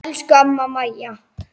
Elsku amma Maja.